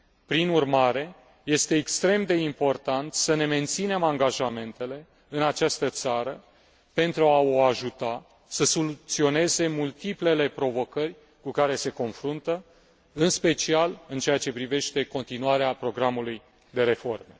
Prin urmare, este extrem de important să ne menținem angajamentele în această țară pentru a o ajuta să soluționeze multiplele provocări cu care se confruntă, în special în ceea ce privește continuarea programului de reformă.